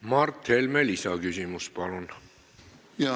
Mart Helme lisaküsimus, palun!